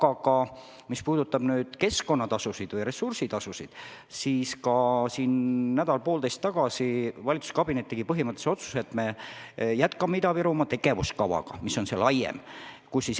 Aga mis puudutab keskkonnatasusid või ressursitasusid, siis nädal või poolteist tagasi tegi valitsuskabinet põhimõttelise otsuse, et me jätkame Ida-Virumaa laiema tegevuskava elluviimist.